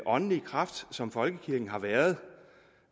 åndelige kraft som folkekirken har været